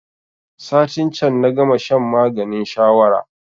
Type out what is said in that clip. Satin can na gama shan maganin shawara